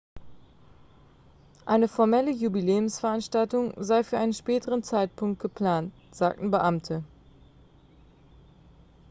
eine formelle jubiläumsveranstaltung sei für einen späteren zeitpunkt geplant sagten beamte